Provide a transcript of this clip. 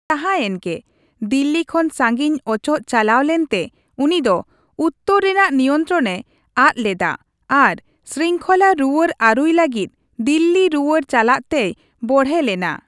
ᱡᱟᱸᱦᱟᱭᱮᱱ ᱜᱮ, ᱫᱤᱞᱞᱤ ᱠᱷᱚᱱ ᱥᱟᱺᱜᱤᱧ ᱚᱪᱚᱜ ᱪᱟᱞᱟᱣ ᱞᱮᱱᱛᱮ ᱩᱱᱤ ᱫᱚ ᱩᱛᱛᱚᱨ ᱨᱮᱱᱟᱜ ᱱᱤᱭᱚᱱᱛᱨᱚᱱᱮ ᱟᱫᱽ ᱞᱮᱫᱟ ᱟᱨ ᱥᱨᱤᱝᱠᱷᱚᱞᱟ ᱨᱩᱣᱟᱹᱲ ᱟᱹᱨᱩᱭ ᱞᱟᱹᱜᱤᱫ ᱫᱤᱞᱞᱤ ᱨᱩᱣᱟᱹᱲ ᱪᱟᱞᱟᱜ ᱛᱮᱭ ᱵᱚᱲᱦᱮ ᱞᱮᱱᱟ ᱾